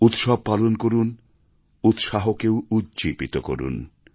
উৎসব পালন করুন উৎসাহকেও উজ্জীবিত করুন